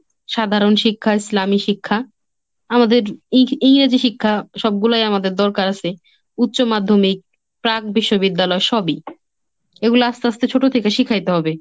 সাধারণ শিক্ষা, ইসলামী শিক্ষা, আমাদের ই~ ইংরেজি শিক্ষা সবগুলোই আমাদের দরকার আসে। উচ্চ মাধ্যমিক, প্রাক বিশ্ববিদ্যালয়ের সবই। এগুলা আস্তে আস্তে ছোট থেকে শিখাইতে হবে।